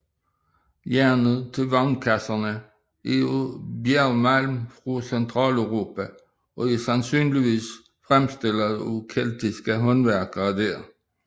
Jernet til vognkasserne er af bjergmalm fra Centraleuropa og er sandsynligvis fremstillet af keltiske håndværkere der